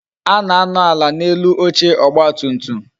A na-anọ ala n'elu oche ọgba tum tum